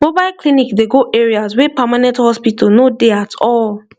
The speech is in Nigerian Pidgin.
mobile clinic dey go areas wey permanent hospital no dey at all